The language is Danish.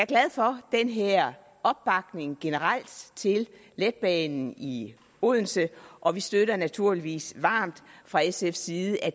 glad for den her opbakning generelt til letbanen i odense og vi støtter naturligvis varmt fra sfs side at